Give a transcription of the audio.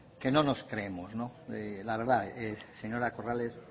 que no nos creemos la verdad señora corrales